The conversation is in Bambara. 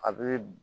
A bɛ